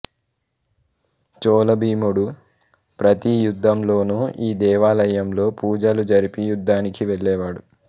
చోళభీముడు ప్రతీయుద్ధంలోనూ ఈ దేవాలయంలో పూజలు జరిపి యుద్ధానికి వెళ్ళే వాడు